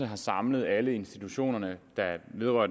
har samlet alle institutionerne der vedrører